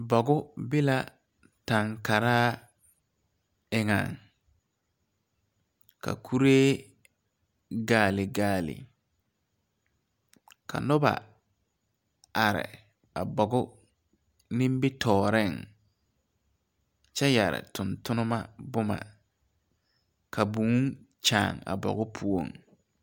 Bogu be la tɛn karaa eŋɛŋ ka kuree gaale gaale ka noba are a bogu nimitooreŋ kyɛ yɛre tontonnema bomma ka būū kyaan a bogu poɔŋ.